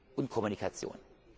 und Kommunikation.